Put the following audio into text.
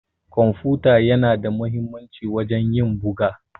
kwamfuta yana da muhimmanci wajen ƴin buga.